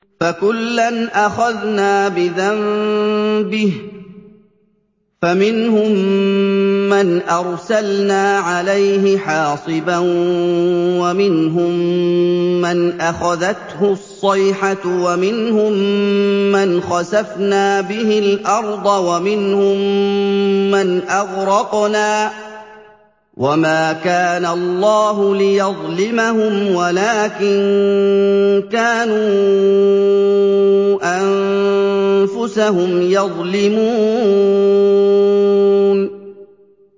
فَكُلًّا أَخَذْنَا بِذَنبِهِ ۖ فَمِنْهُم مَّنْ أَرْسَلْنَا عَلَيْهِ حَاصِبًا وَمِنْهُم مَّنْ أَخَذَتْهُ الصَّيْحَةُ وَمِنْهُم مَّنْ خَسَفْنَا بِهِ الْأَرْضَ وَمِنْهُم مَّنْ أَغْرَقْنَا ۚ وَمَا كَانَ اللَّهُ لِيَظْلِمَهُمْ وَلَٰكِن كَانُوا أَنفُسَهُمْ يَظْلِمُونَ